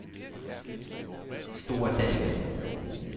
Store Dalby